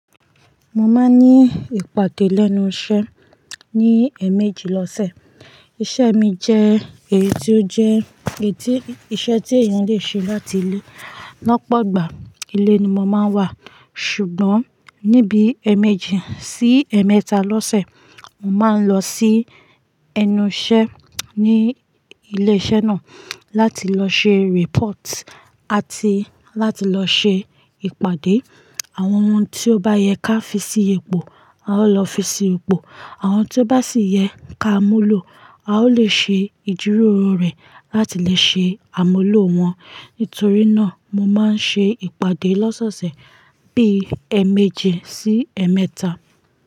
Mo máa ń ní ìpàdé lẹ́nu iṣẹ́ ní ẹ̀méjì lọ́sẹ̀. Iṣẹ́ mi jẹ́ èyí tí ó jẹ́ èyí tí iṣẹ́ tí èèyàn lè ṣe láti ilé. Lọ́pọ̀gbà ilé ni mo máa ń wà, ṣùgbọ́n níbi ẹ̀méjì sí ẹ̀mẹ́ta lọ́sẹ̀, mo máa ń lọ sí ẹnu iṣẹ́ ní ilé iṣẹ́ náà láti lọ ṣe report àti láti lọ ṣe ìpàdé àwọn ohun tí ó bá yẹ ká fi sí ipò, a ó lọ fi sí ipò. Àwọn tí ó bá sì yẹ ká múlò, a ó lè ṣe ìjíròrò rẹ̀ láti lè ṣe àmúlò wọn. Nítorí náà, mo máa ń ṣe ìpàdé lọ́sọ̀ọ̀sẹ̀ bíi ẹ̀méjì sí ẹ̀mẹ́ta.